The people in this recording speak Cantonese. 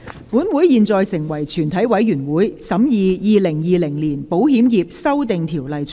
本會現在成為全體委員會，審議《2020年保險業條例草案》。